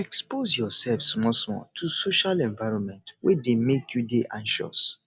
expose yourself small small to social environment wey dey make you dey anxious